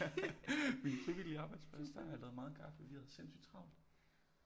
Min frivillige arbejdsplads der har jeg lavet meget kaffe vi havde sindssygt travlt